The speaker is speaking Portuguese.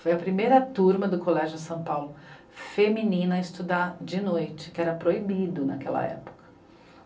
Foi a primeira turma do Colégio São Paulo feminina a estudar de noite, que era proibido naquela época.